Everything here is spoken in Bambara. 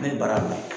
Ne ye baara bila